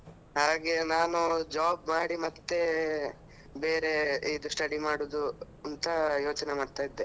ಹಾಗೆ ನಾನು job ಮಾಡಿ ಮತ್ತೆ ಬೇರೆ ಇದು study ಮಾಡುದು ಅಂತ ಯೋಚನೆ ಮಾಡ್ತಾ ಇದ್ದೆ.